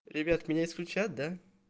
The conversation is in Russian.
ребят меня исключат да